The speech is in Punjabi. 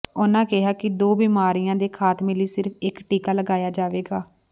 ਉਨ੍ਹਾਂ ਕਿਹਾ ਕਿ ਦੋ ਬਿਮਾਰੀਆਂ ਦੇ ਖ਼ਾਤਮੇ ਲਈ ਸਿਰਫ਼ ਇਕ ਟੀਕਾ ਲਗਾਇਆ ਜਾਵੇਗਾ